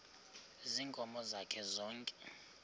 ziinkomo zakhe zonke